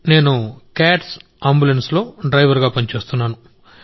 నేను క్యాట్స్ అంబులెన్స్లో డ్రైవర్ గా పనిచేస్తున్నాను